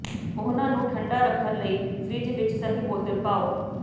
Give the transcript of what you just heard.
ਉਹਨਾਂ ਨੂੰ ਠੰਡਾ ਰੱਖਣ ਲਈ ਫਰਿੱਜ ਵਿੱਚ ਸਹੀ ਬੋਤਲ ਪਾਓ